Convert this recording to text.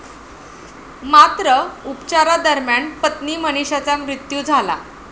मात्र, उपचारादरम्यान, पत्नी मनिषाचा मृत्यू झाला.